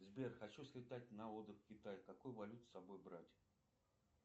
сбер хочу слетать на отдых в китай какую валюту с собой брать